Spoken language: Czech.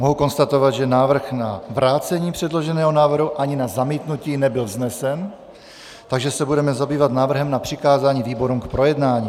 Mohu konstatovat, že návrh na vrácení předloženého návrhu ani na zamítnutí nebyl vznesen, takže se budeme zabývat návrhem na přikázání výborům k projednání.